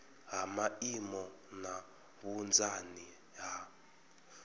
ha maimo na vhunzani ha